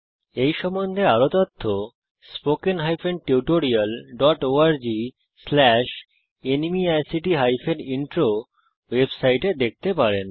এই সম্বন্ধে আরও তথ্য spoken hyphen tutorial dot org slash NMEICT hyphen intro ওয়েবসাইটে দেখতে পারেন